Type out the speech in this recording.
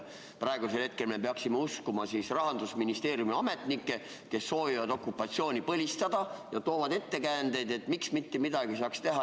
Praegusel hetkel me peaksime uskuma Rahandusministeeriumi ametnikke, kes soovivad okupatsiooni põlistada ja toovad ettekäändeid, miks mitte midagi ei saaks teha.